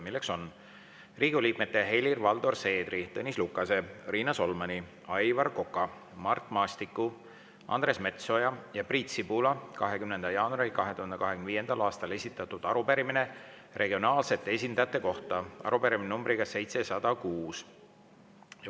Riigikogu liikmete Helir-Valdor Seedri, Tõnis Lukase, Riina Solmani, Aivar Koka, Mart Maastiku, Andres Metsoja ja Priit Sibula 20. jaanuaril 2025. aastal esitatud arupärimine regionaalsete esindajate kohta, arupärimine numbriga 706.